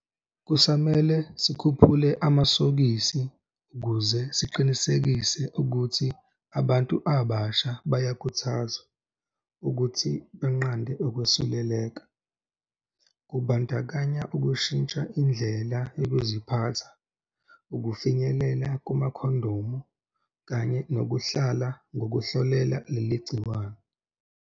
Kusamele sikhuphule amasokisi ukuze siqinisekise ukuthi abantu abasha bayakhuthazwa ukuthi banqande ukwesuleleka, kubandakanyaukushintsha indlela yokuziphatha, ukufinyelela kumakhondomu kanye nokuhlala ngokuhlolela leli gciwane.